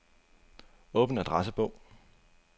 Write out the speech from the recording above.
Åbn adressebog.